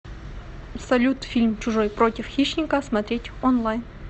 салют фильм чужой против хищника смотреть онлайн